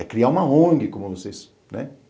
É criar uma on gue, como eu não sei se... né?